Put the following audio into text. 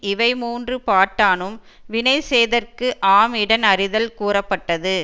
இவை மூன்று பாட்டானும் வினை செய்தற்கு ஆம் இடன் அறிதல் கூறப்பட்டது